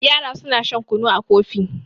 yara suna shan kunu a Kofi